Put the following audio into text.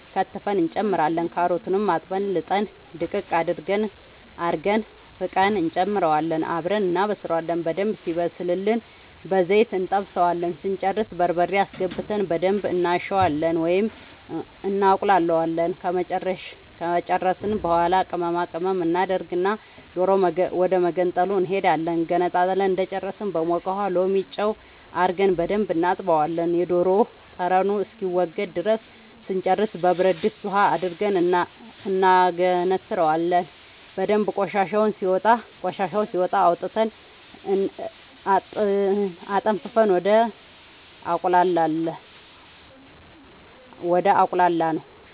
ከትፈን እንጨምራለን ካሮቱንም አጥበን ልጠን ድቅቅ አርገን ፍቀን እንጨምረውና አብረን እናበስላለን በደንብ ሲበስልልን በዘይት እንጠብሰዋለን ስንጨርስ በርበሬ አስገብተን በደንብ እናሸዋለን ወይም እናቁላለዋለን ከጨረስን በኃላ ቅመማ ቅመም እናደርግና ዶሮ ወደመገንጠሉ እንሄዳለን ገንጥለን እንደጨረስን በሞቀ ውሃ ሎሚ ጨው አርገን በደንብ እናጥበዋለን የዶሮ ጠረኑ እስከሚወገድ ድረስ ስንጨርስ በብረድስት ውሃ አድርገን እናገነትረዋለን በደንብ ቆሻሻው ሲወጣ አውጥተን አጠንፍፈን ወደ አቁላላነው